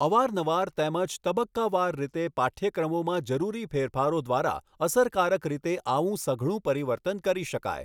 અવાર નવાર તેમજ તબક્કાવાર રીતે પાઠ્યક્રમોમાં જરૂરી ફેરફારો દ્વારા અસરકારક રીતે આવું સઘળું પરિવર્તન કરી શકાય.